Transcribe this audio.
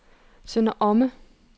Sønder Omme